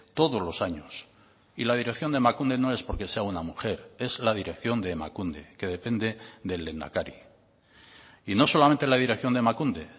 todos los años y la dirección de emakunde no es porque sea una mujer es la dirección de emakunde que depende del lehendakari y no solamente la dirección de emakunde